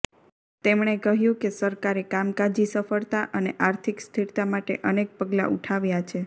તેમણે કહ્યું કે સરકારે કામકાજી સફળતા અને આર્થિક સ્થિરતા માટે અનેક પગલાં ઉઠાવ્યા છે